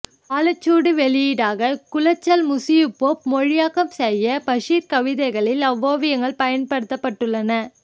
காலச்சுவடு வெளியீடாக குளச்சல் மு யூசுப் மொழியாக்கம் செய்த பஷீர் கதைகளில் அவ்வோவியங்கள் பயன்படுத்தப்பட்டுள்ளன